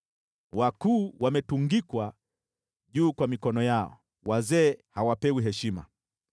Wakuu wametungikwa juu kwa mikono yao, wazee hawapewi heshima.